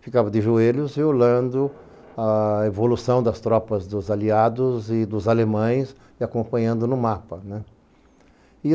ficava de joelhos e olhando a evolução das tropas dos aliados e dos alemães e acompanhando no mapa né.